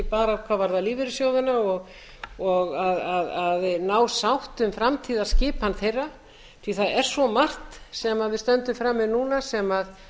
bara hvað varðar lífeyrissjóðina og að ná sátt um framtíðarskipan þeirra því að það er svo margt sem við stöndum frammi fyrir núna sem